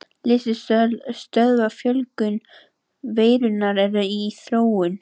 Lyf sem stöðva fjölgun veirunnar eru í þróun.